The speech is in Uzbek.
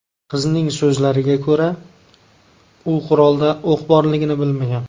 Qizning so‘zlariga ko‘ra, u qurolda o‘q borligini bilmagan.